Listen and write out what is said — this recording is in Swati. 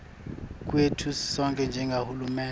kwetfu sisonkhe njengahulumende